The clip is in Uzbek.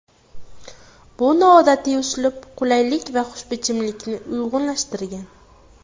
Bu noodatiy uslub qulaylik va xushbichimlikni uyg‘unlashtirgan.